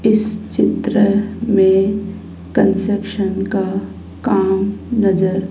इस चित्र में कंस्ट्रक्शन का काम नजर--